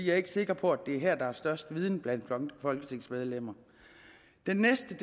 er ikke sikker på at det er her der er størst viden blandt folketingsmedlemmerne det næste